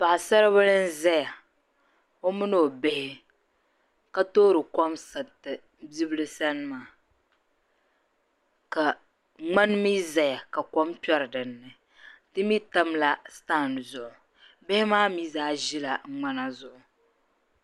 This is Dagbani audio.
Paɣisaribila n-zaya o mini o bihi ka toori kom sariti bibila sani maa ka ŋmani mi zaya mi zaya ka kom kpɛri din ni di mi tamla sitan zuɣu bihi maa mi zaa ʒila ŋmana zuɣu.